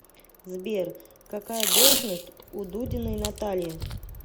сбер какая должность у дудиной натальи